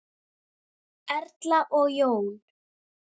Erla og Jón.